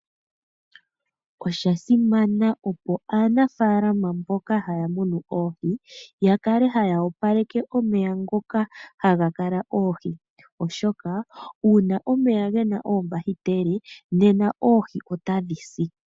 Oshasimana opo aanafaalama mboka ha ya munu oohi, ya kale ha ya opaleke omeya ngoka ha ga kala oohi, oshoka uuna omeya gena oombakiteli nena oohi ota dhi si.